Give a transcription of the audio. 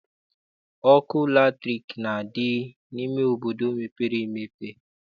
Ọkụ latrik na-adị n'obodo mepere emepe.